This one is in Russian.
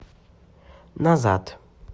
назад